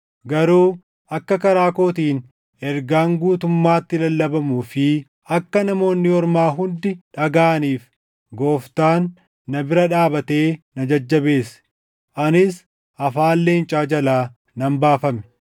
Garuu akka karaa kootiin ergaan guutummaatti lallabamuu fi akka Namoonni Ormaa hundi dhagaʼaniif Gooftaan na bira dhaabatee na jajjabeesse. Anis afaan leencaa jalaa nan baafame.